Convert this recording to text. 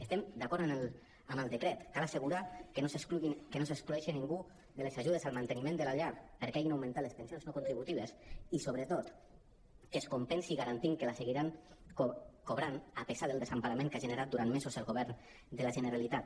estem d’acord amb el decret cal assegurar que no s’exclo·gui ningú de les ajudes al manteniment de la llar perquè hagin augmentat les pen·sions no contributives i sobretot que es compensi garantint que la seguiran cobrant a pesar del desemparament que ha generat durant mesos el govern de la generalitat